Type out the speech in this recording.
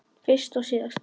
Fyrst og síðast.